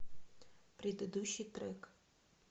предыдущий трек